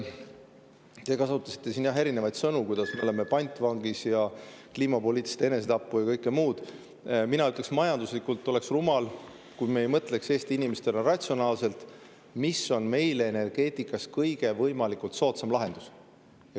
Te kasutasite siin, jah, erinevaid sõnu, et me oleme pantvangis ja et see on kliimapoliitiline enesetapp ja kõike muud, aga mina ütleks, et oleks majanduslikult rumal, kui me ei mõtleks Eesti inimestena ratsionaalselt, mis on meile energeetikas kõige soodsam lahendus.